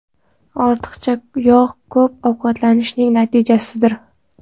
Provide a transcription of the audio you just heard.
Ortiqcha yog‘ ko‘p ovqatlanishning natijasidir.